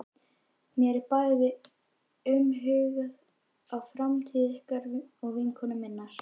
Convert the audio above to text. Mér er bæði umhugað um framtíð ykkar og vinkonu minnar.